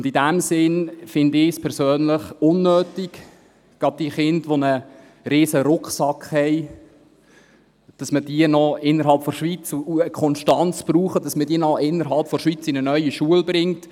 In diesem Sinn finde ich es persönlich unnötig, gerade die Kinder, welche einen riesigen Rucksack haben und eine Konstanz brauchen, noch innerhalb der Schweiz in eine neue Schule zu bringen.